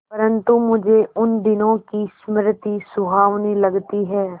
परंतु मुझे उन दिनों की स्मृति सुहावनी लगती है